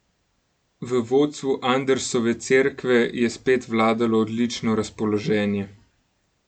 V vodstvu Andersove cerkve je spet vladalo odlično razpoloženje.